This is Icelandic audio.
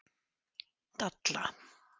Dalla